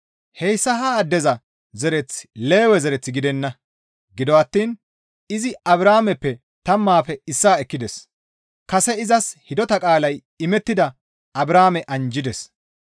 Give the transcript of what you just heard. Hayssa ha addeza zereththi Lewe zereth gidenna; gido attiin izi Abrahaameppe tammaafe issaa ekkides; kase izas hidota qaalay imettida Abrahaame anjjides.